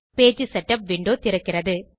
page setup window திறக்கிறது